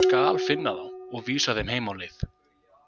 Ég skal finna þá og vísa þeim heim á leið